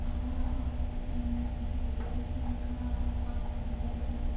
ఆ um lake ఇంకా ఆ కొండలు గుట్--